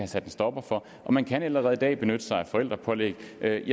sat en stopper for og man kan allerede i dag benytte sig af forældrepålæg jeg